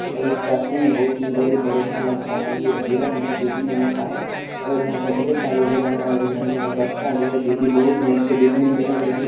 और इसका सिंग बहुत ही बड़े-बड़े हैं लगता है ये हिरण है देखने में का और यहाँ पर ढ़ेर सारे हिरण है और हिरणो का बच्चा भी है जो की बहुत ही अच्छे दिखने में लग रहे --